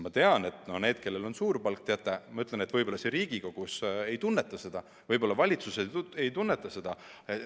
Ma tean, et need, kellel on suur palk, võib-olla me siin Riigikogus ei tunneta seda, võib-olla valitsuses ei tunnetata seda.